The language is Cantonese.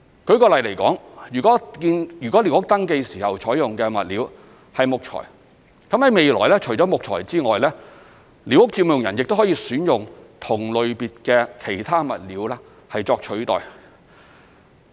舉例來說，如為寮屋登記時採用的物料是木材，未來除了木材外，寮屋佔用人亦可選用同類別的其他物料作替代。